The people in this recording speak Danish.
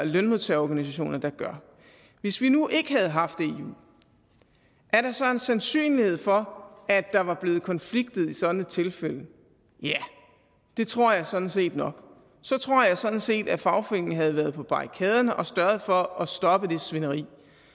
lønmodtagerorganisationer der gør hvis vi nu ikke havde haft eu er der så en sandsynlighed for at der var blevet konflikterne i sådant et tilfælde ja det tror jeg sådan set nok så tror jeg sådan set at fagforeningen havde været på barrikaderne og sørget for at stoppe det svineri